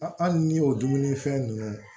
hali n'i y'o dumunifɛn nunnu